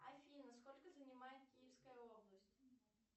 афина сколько занимает киевская область